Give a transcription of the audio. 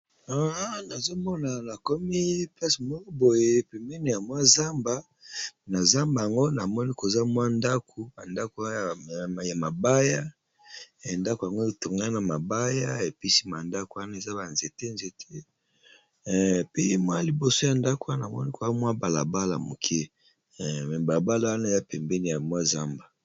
Nazomona na komi place moko boye pembeni ya mwa zamba na zamba yango namoni koza mwa ndako bandako ya mabaya ndako yango etongami na mabaya e puis sima nandako wana eza banzete nzete pe mwa liboso ya ndako wana amoni koza mwa balabala moke me balabala wana ya pembeni ya mwa zamba.